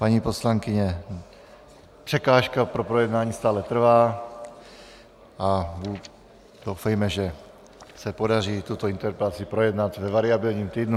Paní poslankyně, překážka pro projednání stále trvá a doufejme, že se podaří tuto interpelaci projednat ve variabilním týdnu.